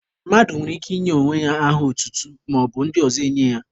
Mmadụ nwere ike inye onwe ya aha otutu, maọbụ ndị ọzọ enye ya.